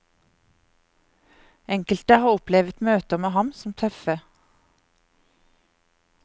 Enkelte har opplevet møter med ham som tøffe.